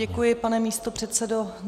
Děkuji, pane místopředsedo.